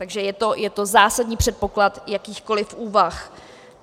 Takže je to zásadní předpoklad jakýchkoliv úvah.